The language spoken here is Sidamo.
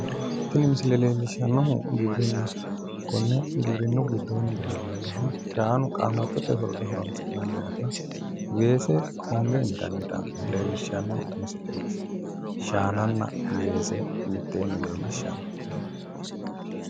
Tini misile leellishshannohu giwirinnaho. Konne giwirinnu giddoo leellannohuno shaanu qaamattote horora horoonsi'nannihanna weese honge intannita leellishshanno misileeti. Shaananna weese mitteenni leellishshanno.